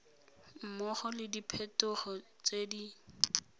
mmogo le diphetogo tse di